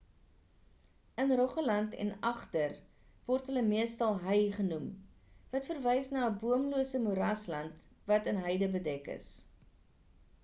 in rogaland en agder word hulle meestal hei genoem wat verwys na 'n boomlose moerasland wat in heide bedek is